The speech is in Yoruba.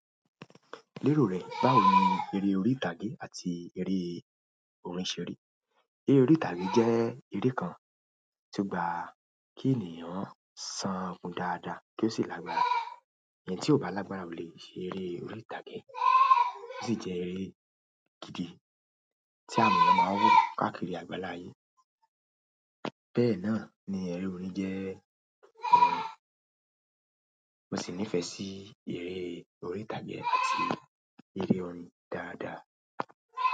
Lérò rẹ, báwo ni eré orí ìtàgé àti eré orin ṣe rí? Eré orí ìtàgé jẹ́ eré kan tó gba kí ènìyàn ṣan kun dáadáa kí ó sì lágbára. Ẹni tí ò bá lágbára kò lè ṣe eré orí ìtàgé. Ó sì jẹ́ eré gidi tí àwọn ènìyàn máa ń wò káàkiri àgbáláyé. Bẹ́ẹ̀ náà ni eré orin jẹ́. Mo sì nífẹ̀ẹ́ sí eré orí ìtàgé àti eré orin dáadáa.